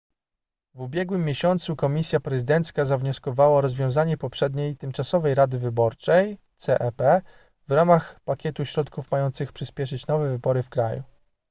w ubiegłym miesiącu komisja prezydencka zawnioskowała o rozwiązanie poprzedniej tymczasowej rady wyborczej cep w ramach pakietu środków mających przyspieszyć nowe wybory w kraju